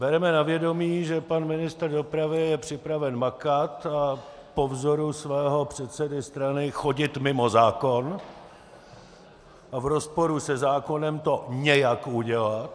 Bereme na vědomí, že pan ministr dopravy je připraven makat a po vzoru svého předsedy strany chodit mimo zákon a v rozporu se zákonem to nějak udělat.